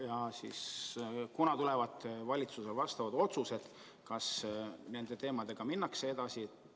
Ja kunas tulevad valitsuse otsused, kas nende teemadega minnakse edasi?